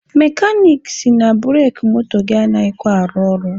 Mekanik sị na bureki moto gị anaghịkwa arụ ọrụ.